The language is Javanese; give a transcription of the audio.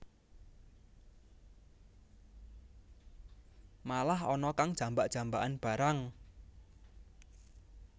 Malah ana kang jambak jambakan barang